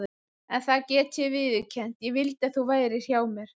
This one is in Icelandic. En það get ég viðurkennt: ég vildi að þú værir hér hjá mér.